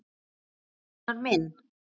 Rúnar minn.